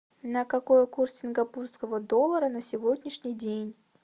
на какой курс сингапурского доллара на сегодняшний день